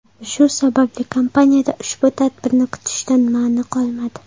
Shu sababli kompaniyada ushbu tadbirni kutishdan ma’ni qolmadi.